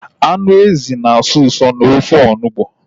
Anụ ezi na asọ usọ n'ofe onugbu